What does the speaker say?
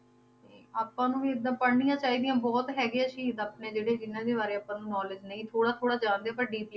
ਆਪਾਂ ਨੂੰ ਵੀ ਇੱਦਾਂ ਪੜ੍ਹਨੀਆਂ ਚਾਹੀਦੀਆਂ ਬਹੁਤ ਹੈਗੇ ਆ ਸ਼ਹੀਦ ਆਪਣੇ ਜਿਹੜੇ ਜਿੰਨਾਂ ਦੇ ਬਾਰੇ ਆਪਾਂ ਨੂੰ knowledge ਨਹੀਂ, ਥੋੜਾ ਥੋੜਾ ਜਾਣਦੇ ਹਾਂ ਪਰ deep~